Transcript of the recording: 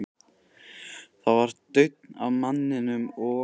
Það var daunn af manninum, og